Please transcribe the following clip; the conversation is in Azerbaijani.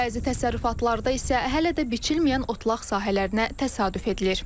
Bəzi təsərrüfatlarda isə hələ də biçilməyən otlaq sahələrinə təsadüf edilir.